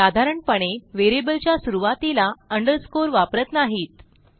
साधारणपणे व्हेरिएबलच्या सुरूवातीला अंडरस्कोर वापरत नाहीत